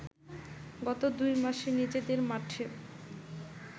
গত দুই মাসে নিজেদের মাঠে